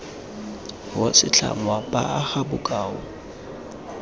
wa setlhangwa ba aga bokao